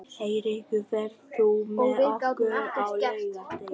Heiðrekur, ferð þú með okkur á laugardaginn?